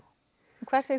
hvað segir